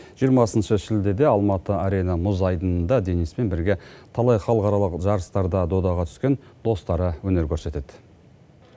жиырмасыншы шілдеде алматы арена мұз айдынында дениспен бірге талай халықаралық жарыстарда додаға түскен достары өнер көрсетеді